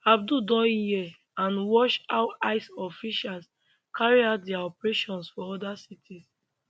abdul don hear and watch how ice officials carry out dia operations for oda cities